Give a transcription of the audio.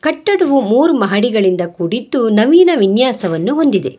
ಕಟ್ಟಡವು ಮೂರು ಮಹಡಿಗಳಿಂದ ಕೂಡಿದ್ದು ನವೀನ ವಿನ್ಯಾಸವನ್ನು ಹೊಂದಿದೆ.